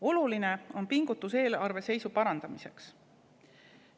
Oluline on pingutus eelarveseisu parandamiseks.